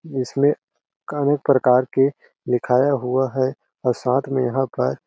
इसमें का अनेक प्रकार के लिखाया हुआ है और साथ में यहाँ का--